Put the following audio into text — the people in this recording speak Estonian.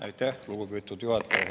Aitäh, lugupeetud juhataja!